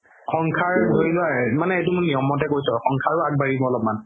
এইটো মানে নিয়মতে কৈছো আগবাঢ়িব অলপমান